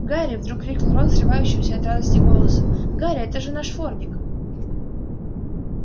гарри вдруг крикнул рон срывающимся от радости голосом гарри это же наш фордик